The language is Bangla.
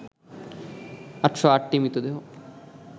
৮০৮টি মৃতদেহ